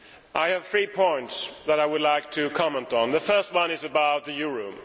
I have three points that I would like to comment on. The first one is about the euro.